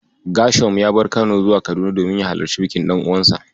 Ghershom ya bar Kano zuwa Kaduna domin ya halarci bikin ɗan'uwansa.